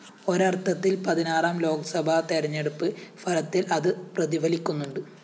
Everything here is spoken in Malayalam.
ഒരര്‍ത്ഥത്തില്‍ പതിനാറാം ലോക്‌സഭാ തെരഞ്ഞെടുപ്പ് ഫലത്തില്‍ അത് പ്രതിഫലിക്കുന്നുണ്ട്